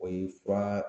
O ye fura